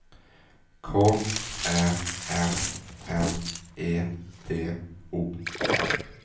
K Ä N N E D O M